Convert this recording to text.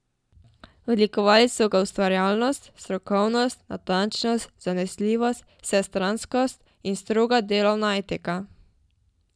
Odlikovali so ga ustvarjalnost, strokovnost, natančnost, zanesljivost, vsestranskost in stroga delovna etika.